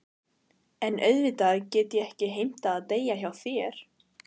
En auðvitað get ég ekki heimtað að deyja hjá þér.